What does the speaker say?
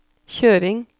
kjøring